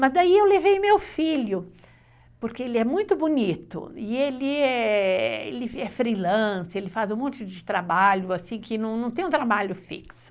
Mas daí eu levei meu filho, porque ele é muito bonito, e ele é freelance, ele faz um monte de trabalho assim, que não tem um trabalho fixo.